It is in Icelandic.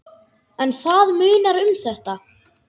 En það munar um þetta.